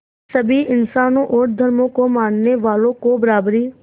सभी इंसानों और धर्मों को मानने वालों को बराबरी